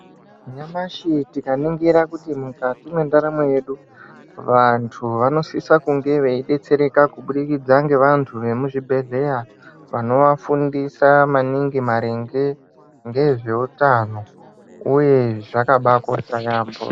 Nyamashi tikaningira kuti mukati mwendaramo yedu vantu vanosise kunge veidetsereka kubudikidza nevantu vemuzvibhehlera vanovafundisa maningi maringe ngezveutano uye zvakabaakosha yamho.